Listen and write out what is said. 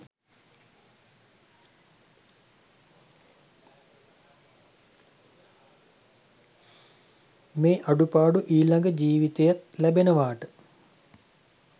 මේ අඩුපාඩු ඊළඟ ජීවිතයෙත් ලැබෙනවාට?